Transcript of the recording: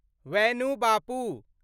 वैणु बापु